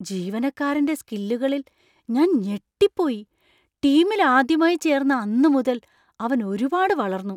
ജീവനക്കാരന്‍റെ സ്കില്ലുകാളിൽ ഞാൻ ഞെട്ടിപ്പോയി, ടീമിൽ ആദ്യമായി ചേർന്ന അന്ന് മുതൽ അവൻ ഒരുപാട് വളർന്നു.